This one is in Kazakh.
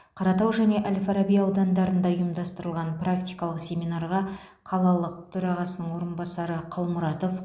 қаратау және әл фараби аудандарында ұйымдастырылған практикалық семинарға қалалық төрағасының орынбасары қалмұратов